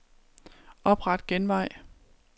Opret genvej.